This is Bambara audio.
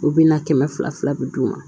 U bɛna kɛmɛ fila fila bɛ d'u ma